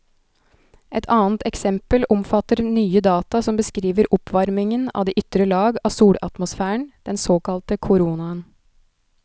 Et annet eksempel omfatter nye data som beskriver oppvarmingen av de ytre lag av solatmosfæren, den såkalte koronaen.